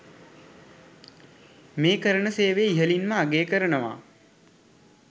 මේ කරන සේවය ඉහලින්ම අගය කරනවා.